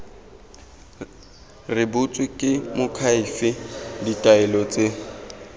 rebotswe ke moakhaefe ditaelo tse